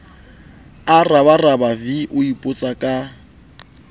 a rabaraba v o ipotsaka